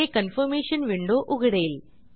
हे confirmation window उघडेल